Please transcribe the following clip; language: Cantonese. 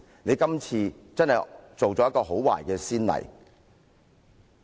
你今次真的立下很壞的先例。